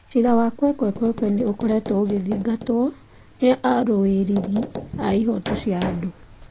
Ciira wa Kwekwe nĩ ũkoretwo ũgĩthingatwo nĩ arũĩrĩri a ihooto cia andũ.